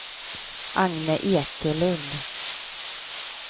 Agne Ekelund